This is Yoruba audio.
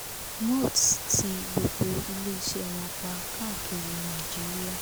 mots tí gbogbo iléeṣẹ́ wọn pa káàkiri nàìjíríà